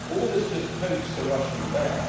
All this just pokes the Russian bear.